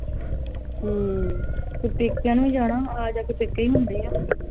ਹਮ ਤੇ ਪੇਕਿਆਂ ਨੂੰ ਜਾਣਾ ਆ ਜਾ ਕੇ ਪੇਕੇ ਹੀ ਹੁੰਦੇ ਆ ਹਮ ਹੁਣ ਵੇਖਲਾ ਜਿੱਦਾ ਮਰਜੀ ਆ ਵਿਆਹ ਤੇ ਚਲੋ ਹੁੰਦਾ ਵਾ